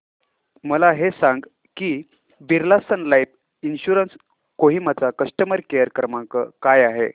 मला हे सांग की Birla Sun Life insurance Kohima चा कस्टमर केअर क्रमांक काय आहे